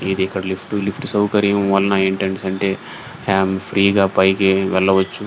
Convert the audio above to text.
ఇది ఇక్కడ lift lift సౌకర్యం వల్లన ఏంటంటే హేమ్ ఫ్రీ గ పైకి వెళ్ళవచ్చు.